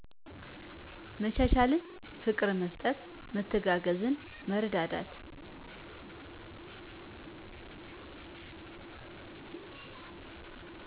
መቻቻልን፣ ፍቅር መስጠት፣ መተጋገዝ፣ መረዳዳት።